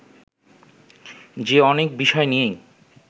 যে অনেক বিষয় নিয়েই